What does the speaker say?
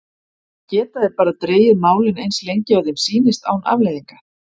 Geta þeir bara dregið málið eins lengi og þeim sýnist án afleiðinga?